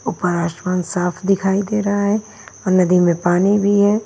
ऊपर आसमान साफ दिखाई दे रहा है और नदी में पानी भी है।